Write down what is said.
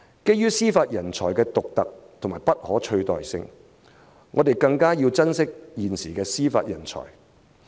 基於司法人才的獨特和不可取代性，我們更要珍惜現時的司法人才。